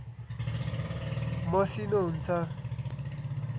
मसिनो हुन्छ